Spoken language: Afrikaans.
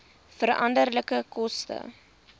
veranderlike koste